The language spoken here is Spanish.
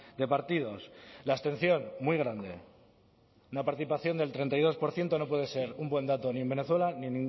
de partidos la abstención muy grande una participación del treinta y dos por ciento no puede ser un buen dato ni en venezuela ni